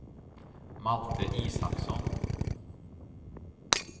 Malte Isaksson